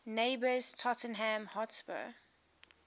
neighbours tottenham hotspur